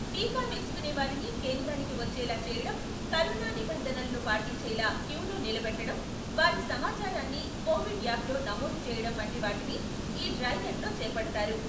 టీకా వేసుకునే వారిని కేంద్రానికి వచ్చేలా చేయడం, కరోనా నిబంధనలను పాటించేలా క్యూలో నిలబెట్టడం, వారి సమాచా రాన్ని కోవిడ్ యాప్లో నమోదు చేయడం వంటి వాటిని ఈ డ్రై రన్ చేపడతారు.